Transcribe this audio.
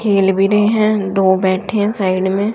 खेल भी रहे हैं दो बैठे हैं साइड में।